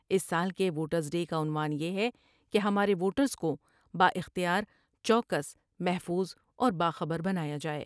اس سال کے voters day کاعنوان یہ ہے کہ ہمارے ووٹرس کو با اختیار ، چوکس محفوظ اور باخبر بنایا جائے ۔